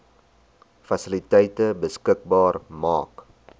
fasiliteite beskikbaar maak